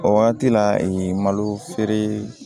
O wagati la ee malo feere